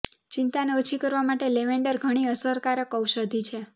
ચિંતાને ઓછી કરવા માટે લેવેન્ડર ઘણી અસરકારક ઔષધી છે